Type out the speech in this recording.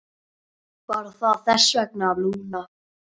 Var það þess vegna, Lúna?